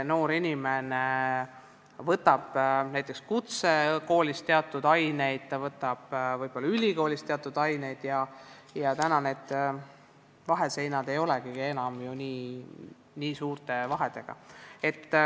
Noor inimene võtab näiteks kutsekoolis teatud aineid, ta võtab ka võib-olla ülikoolis teatud aineid, sest need vaheseinad ei olegi ju enam nii kõrged.